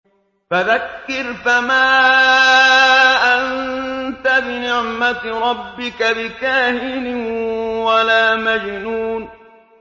فَذَكِّرْ فَمَا أَنتَ بِنِعْمَتِ رَبِّكَ بِكَاهِنٍ وَلَا مَجْنُونٍ